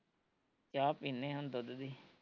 ਚਾਹ ਪੀਂਦੇ ਹੁਣ ਦੁੱਧ ਦੀ